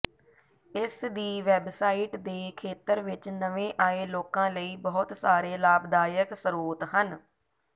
ਇਸ ਦੀ ਵੈੱਬਸਾਈਟ ਦੇ ਖੇਤਰ ਵਿੱਚ ਨਵੇਂ ਆਏ ਲੋਕਾਂ ਲਈ ਬਹੁਤ ਸਾਰੇ ਲਾਭਦਾਇਕ ਸਰੋਤ ਹਨ